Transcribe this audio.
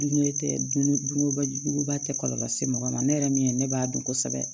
Dunŋe tɛ dun dunkoba juguba tɛ kɔlɔlɔ se mɔgɔ ma ne yɛrɛ min ye ne b'a dɔn kosɛbɛ